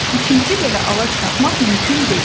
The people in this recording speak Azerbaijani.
İkinci belə ağac tapmaq mümkün deyil.